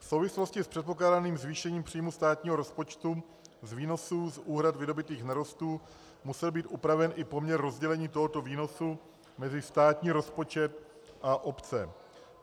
V souvislosti s předpokládaným zvýšením příjmu státního rozpočtu z výnosů z úhrad vydobytých nerostů musel být upraven i poměr rozdělení tohoto výnosu mezi státní rozpočet a obce.